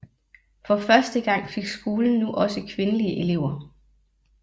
For første gang fik skolen nu også kvindelige elever